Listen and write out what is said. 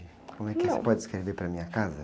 Não.omo é que você pode escrever para mim a casa?